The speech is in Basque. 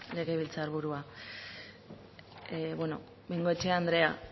legebiltzar burua bueno bengoechea andrea